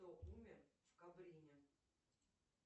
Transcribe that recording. кто умер в кабрене